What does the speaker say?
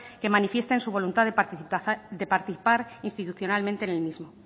que manifiesten su voluntad de participar institucionalmente en el mismo